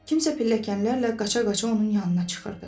Kimsə pilləkənlərlə qaça-qaça onun yanına çıxırdı.